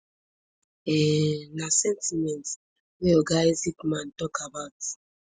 um na sentiment wey oga isaacman tok about